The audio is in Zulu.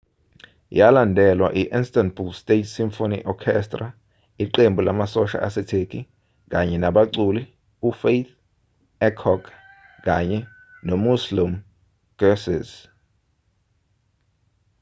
yalandelwa i-istanbul state symphony orchestra iqembu lamasosha asetheki kanye nabaculi ufatih erkoç kanye nomüslüm gürses